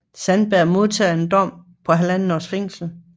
Sandberg modtager en dom på halvandet års fængsel